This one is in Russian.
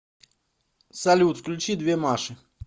салют включи две маши